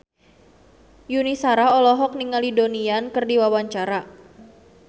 Yuni Shara olohok ningali Donnie Yan keur diwawancara